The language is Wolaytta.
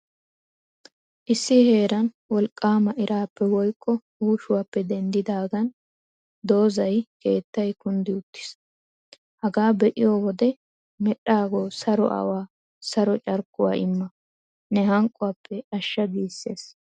Issi heeran wolqqaama iraappe woykko uushuaappe denddidaagan dozay, keettay kunddi uttiis. Hagaa be'iyoo wode, Medhdhaagoo saro awaa saro carkkuwaa imma!! ne hanqquwaappe ashsha giissees.